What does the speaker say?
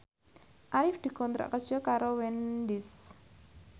Arif dikontrak kerja karo Wendys